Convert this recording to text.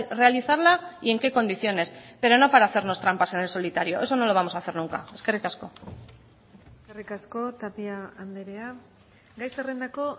realizarla y en qué condiciones pero no para hacernos trampas en el solitario eso no lo vamos a hacer nunca eskerrik asko eskerrik asko tapia andrea gai zerrendako